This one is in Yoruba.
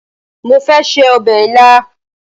Mo fẹ́ se ọbẹ̀ ilá